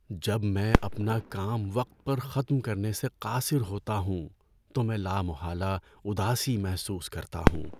جب میں اپنا کام وقت پر ختم کرنے سے قاصر ہوتا ہوں تو میں لامحالہ اداسی محسوس کرتا ہوں۔